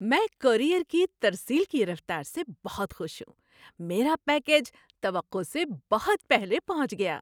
میں کورئیر کی ترسیل کی رفتار سے بہت خوش ہوں۔ میرا پیکیج توقع سے بہت پہلے پہنچ گیا!